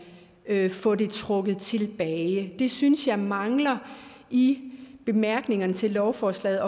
kan få det trukket tilbage det synes jeg mangler i bemærkningerne til lovforslaget